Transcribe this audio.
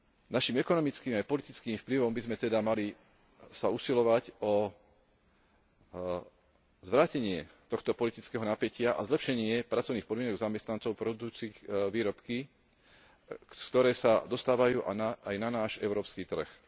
Našim ekonomickým aj politickým vplyvom by sme sa teda mali usilovať o zvrátenie tohto politického napätia a zlepšenie pracovných podmienok zamestnancov produkujúcich výrobky, ktoré sa dostávajú aj na náš európsky trh.